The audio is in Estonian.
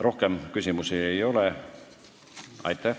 Rohkem küsimusi ei ole.